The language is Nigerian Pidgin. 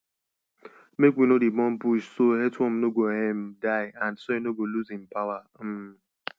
make we no dey burn bush so earthworm no go um die and soil no go lose im power um